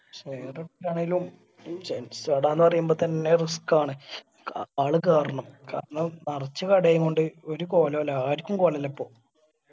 share ഇട്ടിട്ട് ആണേലും gents കടാന്ന് പറയുമ്പോ തന്നെ risk ആണ്. ആള് കേറണം കാരണം നെറച്ചും കടയൊണ്ട് ഒരു കൊലോയില്ല ആർക്കും കോലൊല്ലാ ഇപ്പോ.